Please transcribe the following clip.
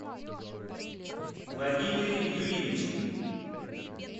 владимире юрьевиче